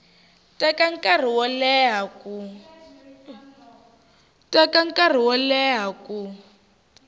teka nkarhi wo leha ku